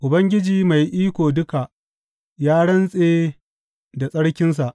Ubangiji Mai Iko Duka ya rantse da tsarkinsa.